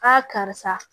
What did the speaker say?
karisa